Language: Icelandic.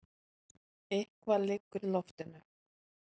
Eitthvað liggur í loftinu!